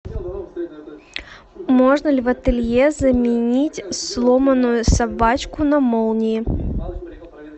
можно ли в ателье заменить сломанную собачку на молнии